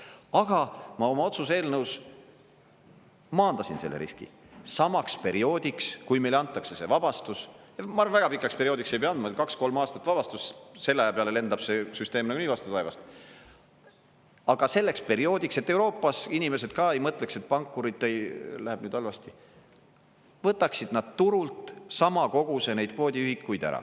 Aga ma oma otsuse eelnõus maandasin selle riski, samaks perioodiks, kui meile antakse see vabastus, väga pikaks perioodiks ei pea andma, kaks- kolm aastat vabastust, selle aja peale lendab see süsteem nagunii vastu taevast, aga selleks perioodiks, et Euroopas inimesed ka ei mõtleks, et pankuritel läheb nüüd halvasti, võtaksid nad turult sama koguse neid kvoodiühikuid ära.